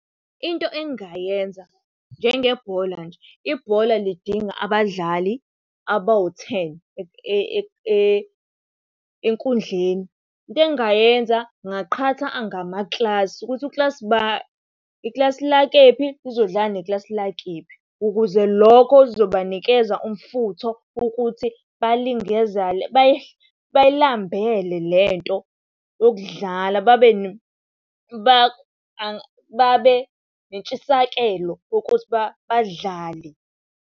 Into engingayenza njengebhola nje, ibhola lidinga abadlali abawu-ten enkundleni. Into engingayenza ngingaqhatha ngamakilasi ukuthi ukilasi ba, ikilasi lakephi uzodlala nekilasi lakephi. Ukuze lokho kuzobanikeza umfutho ukuthi bayilambele lento yokudlala, babe nentshisakelo ukuthi badlale.